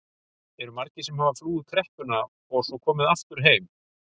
Eru margir sem hafa flúið kreppuna og komið svo aftur heim?